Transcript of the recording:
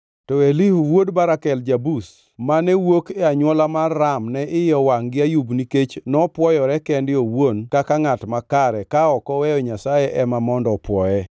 To Elihu wuod Barakel ja-Buz, mane wuok e anywola mar Ram ne iye owangʼ gi Ayub nikech nopwoyore kende owuon kaka ngʼat makare, ka ok oweyo Nyasaye ema mondo opwoye.